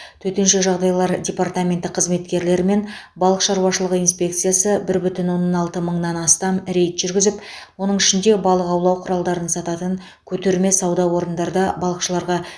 төтенше жағдайлар департаменті қызметкерлері мен балық шаруашылығы инспекциясы бір бүтін оннан алты мыңнан астам рейд жүргізіп оның ішінде балық аулау құралдарын сататын көтерме сауда орындарда балықшыларға